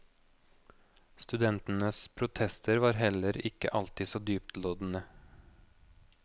Studentenes protester var heller ikke alltid så dyptloddende.